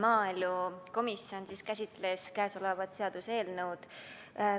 Maaelukomisjon käsitles käesolevat seaduseelnõu